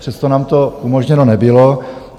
Přesto nám to umožněno nebylo.